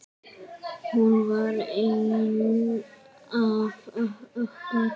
Hún var ein af okkur.